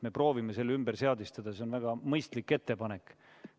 Me proovime selle ümber seadistada, see on väga mõistlik ettepanek.